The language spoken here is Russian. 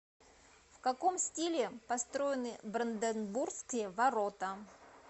в каком стиле построены бранденбургские ворота